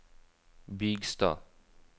Bygstad